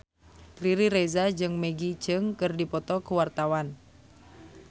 Riri Reza jeung Maggie Cheung keur dipoto ku wartawan